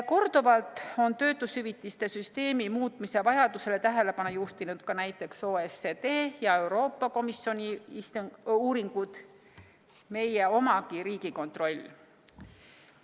Korduvalt on töötushüvitise süsteemi muutmise vajadusele tähelepanu juhtinud ka näiteks OECD ja Euroopa Komisjoni uuringud, ka meie oma Riigikontroll.